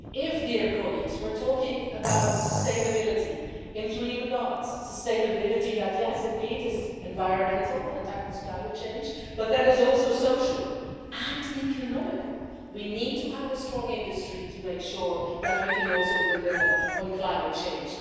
If we're talking about sustainability in three regards sustainability that, yes, indeed is environmental and tackles climate change, but that is also social and economical we need to have a strong industry to make sure that we can also deliver on climate change.